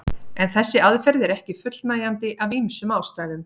En þessi aðferð er ekki fullnægjandi af ýmsum ástæðum.